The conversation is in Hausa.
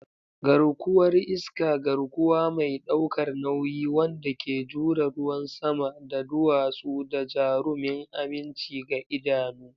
Garkuwar iska, garkuwa mai ɗaukar nauyi wanda ke jure ruwan sama da duwatsu, da jarumin aminci ga idanu.